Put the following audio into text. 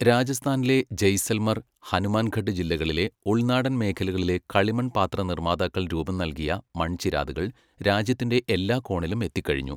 രാജസ്ഥാനിലെ ജയ്സൽമർ, ഹനുമാൻഘട്ട് ജില്ലകളിലെ ഉൾനാടൻ മേഖലകളിലെ കളിമൺപാത്ര നിർമ്മാതാക്കൾ രൂപംനൽകിയ മൺചിരാതുകൾ രാജ്യത്തിന്റെ എല്ലാ കോണിലും എത്തിക്കഴിഞ്ഞു.